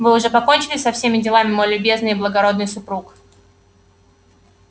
вы уже покончили со всеми делами мой любезный и благородный супруг